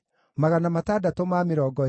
na cia Hashumu ciarĩ 223,